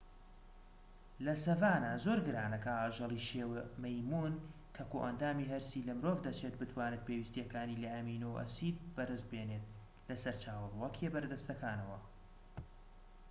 لە سەڤانە زۆر گرانە کە ئاژەڵی شێوە مەیمون کە کۆئەندامی هەرسی لە مرۆڤ دەچێت بتوانێت پێویستیەکانی لە ئەمینۆ ئەسید بەدەستبێنێت لە سەرچاوە ڕووەکیە بەردەستەکانەوە